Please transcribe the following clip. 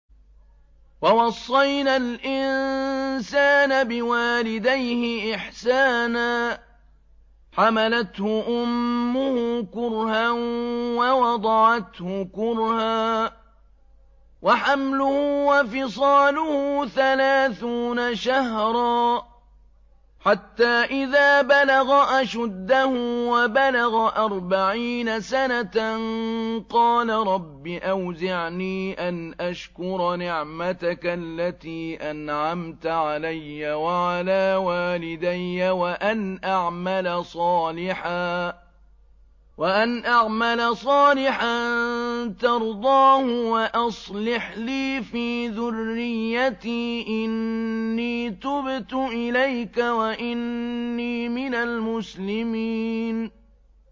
وَوَصَّيْنَا الْإِنسَانَ بِوَالِدَيْهِ إِحْسَانًا ۖ حَمَلَتْهُ أُمُّهُ كُرْهًا وَوَضَعَتْهُ كُرْهًا ۖ وَحَمْلُهُ وَفِصَالُهُ ثَلَاثُونَ شَهْرًا ۚ حَتَّىٰ إِذَا بَلَغَ أَشُدَّهُ وَبَلَغَ أَرْبَعِينَ سَنَةً قَالَ رَبِّ أَوْزِعْنِي أَنْ أَشْكُرَ نِعْمَتَكَ الَّتِي أَنْعَمْتَ عَلَيَّ وَعَلَىٰ وَالِدَيَّ وَأَنْ أَعْمَلَ صَالِحًا تَرْضَاهُ وَأَصْلِحْ لِي فِي ذُرِّيَّتِي ۖ إِنِّي تُبْتُ إِلَيْكَ وَإِنِّي مِنَ الْمُسْلِمِينَ